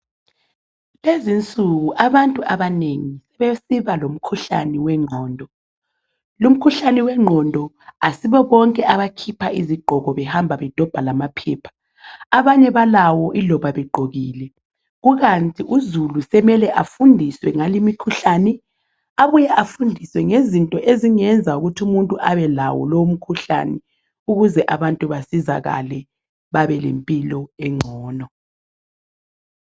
kulezinsuku abantu abanengi sebesiba lomkhuhlane wenqondo lu mkhuhlane wenqondo asibobonke abakhipha izigqoko abahamba bedobha lamaphepha abanye balawo iloba begqokile kukanti uzulu semele afundiswe ngale imikhuhlane abuye afundiswe ngezinto ezingenza ukuthi umuntu abe lawo lowu mkhuhlane ukuze abantu basizakale babe lempilo encono